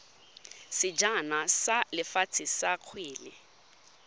sejana sa lefatshe sa kgwele